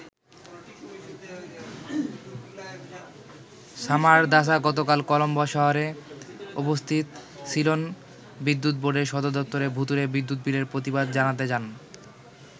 সামারদাসা গতকাল কলম্বো শহরে অবস্থিত সিলন বিদ্যুৎ বোর্ডের সদর দপ্তরে ভূতুড়ে বিদ্যুৎ বিলের প্রতিবাদ জানাতে যান।